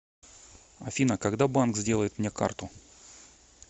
афина когда банк сделает мне карту